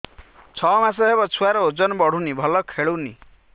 ଛଅ ମାସ ହବ ଛୁଆର ଓଜନ ବଢୁନି ଭଲ ଖେଳୁନି